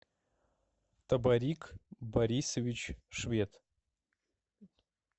табарик борисович швед